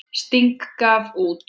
Sting gaf út.